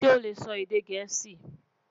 ṣé ole sò èdè gèésì?